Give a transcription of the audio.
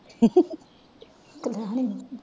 ਕਲੈਣੀ।